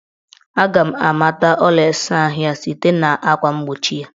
Aga m amata ụlọ ịsaahụ ya site na akwa mgbochi ya